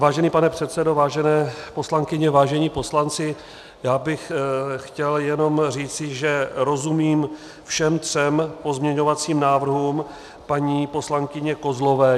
Vážený pane předsedo, vážené poslankyně, vážení poslanci, já bych chtěl jenom říci, že rozumím všem třem pozměňovacím návrhům paní poslankyně Kozlové.